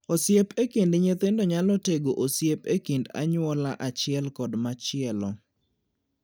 Osiep e kind nyithindo nyalo tego osiep e kind anyuola achiel kod machielo.